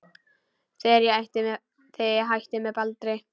Þegar ég hætti með Baldri.